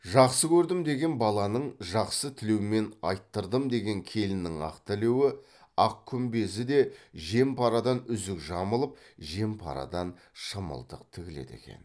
жақсы көрдім деген баланың жақсы тілеумен айттырдым деген келіннің ақ тілеуі ақ күмбезі де жем парадан үзік жамылып жем парадан шымылдық тігіледі екен